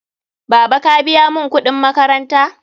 Baba, ka biya mun kuɗin makaranta?